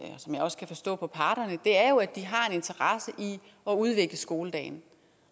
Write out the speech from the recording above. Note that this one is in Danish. som jeg også kan forstå på parterne er jo at de har en interesse i at udvikle skoledagen